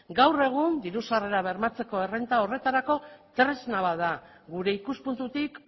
gaur egun diru sarrera bermatzeko errenta horretarako tresna bat da gure ikuspuntutik